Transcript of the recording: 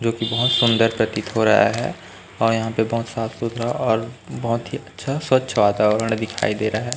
जोकि बहोत सुंदर प्रतीत हो रहा है और यहां पे बहोत साफ सुथरा और बहोत ही अच्छा स्वच्छ वातावरण दिखाई दे रहा है।